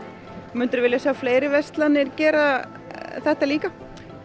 myndirðu vilja sjá fleiri verslanir gera þetta líka